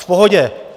V pohodě.